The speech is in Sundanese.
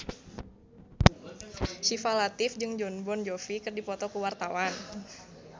Syifa Latief jeung Jon Bon Jovi keur dipoto ku wartawan